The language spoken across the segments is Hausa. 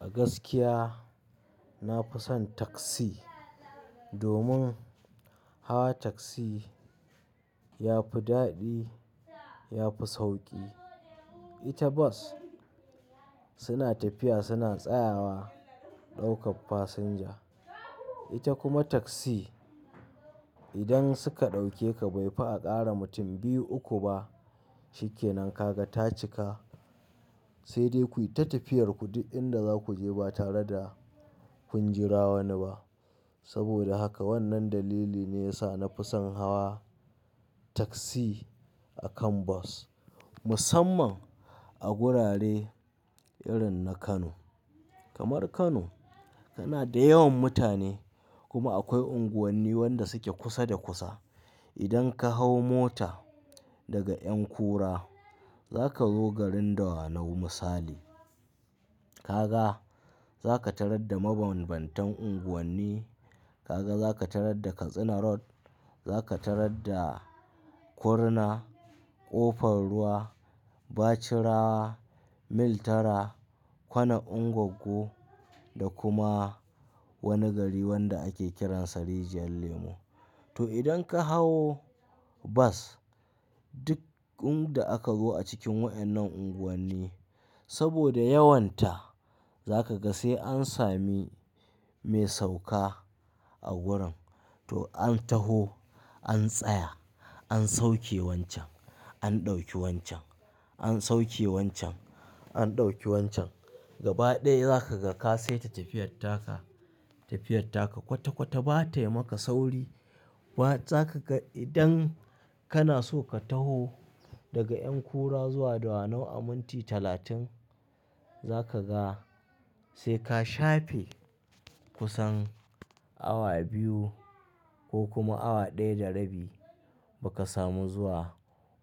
A gaskiya na fi son tasi domin hawa tasi ya fi daɗi, ya fi sauƙi. Ita bas suna tafiya suna tsayawa ɗaukar fasinja. Ita kuma tasi idan suka ɗauke ka bai fi a ƙara mutum biyu uku ba shikenan kaga ta cika sai dai ku yi ta tafiyar ku duk inda za ku je ba tare da kun jira wani ba. Saboda haka wannan dalili ne ya sa na fi son hawa tasi a kan bas. Musamman a gurare irin na Kano. Kamar Kano kana da yawan mutane kuma akwai unguwanni wanda suke kusa da kusa. Idan ka hau mota daga ƴankura za ka zo garin Dawanau misali. Kaga za ka tarar da mabanbantan unguwanni, kaga za ka tarar da Katsina Road, za ka tarar da Kurna, Ƙofar Ruwa, Bachira, Mil 8, Kwana Ungoggo da kuma wani gari wanda ake kiransa Rijiyar Lemo. To idan ka hau bas duk inda aka zo a cikin waɗannan unguwanni saboda yawon ta za ka ga sai an sami mai sauka a wurin to an taho an tsaya, an sauke wancan, an ɗauki wancan, an sauke wancan, an ɗauki wancan. Gaba ɗaya za ka ga ka sai ta tafiyar taka, tafiyar taka kwata-kwata ba tayi maka sauri ba. Za ka ga idan kana so ka taho daga ƴankura zuwa Dawanau a minti talatin za ka ga sai ka shafe kusan awa biyu ko kuma awa ɗaya da rabi ba ka samu zuwa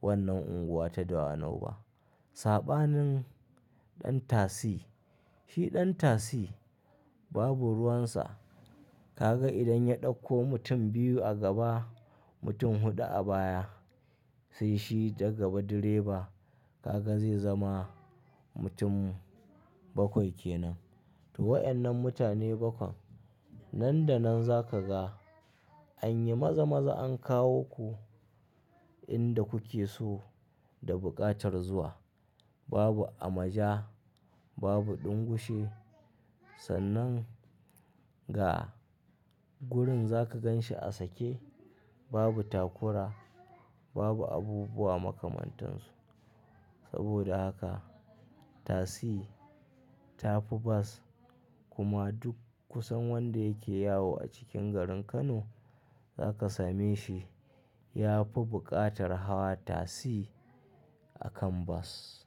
wannan unguwa ta Dawanau ba. Saɓanin ɗan tasi, shi ɗan tasi babu ruwansa. Kaga idan ya ɗauko mutum biyu a gaba, mutum huɗu a baya sai shi gaba direba kaga zai zama mutum bakwai kenan. To waɗannan mutane bakwan nan da nan za ka ga an yi maza-maza an kawo ku inda kuke so da buƙatar zuwa. Babu amaja, babu ɗingushi. Sannan ga gurin za ka gan shi a sake babu takura, babu abubuwa makamantansu. Saboda haka tasi ta fi bas kuma duk kusan wanda yake yawo a cikin garin Kano za ka same shi ya fi buƙatar hawa tasi a kan bas.